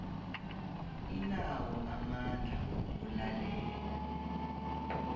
inawo amandla wokulalela